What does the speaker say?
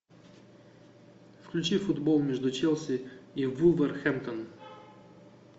включи футбол между челси и вулверхэмптон